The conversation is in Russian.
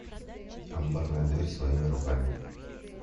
амбарная дверь своими руками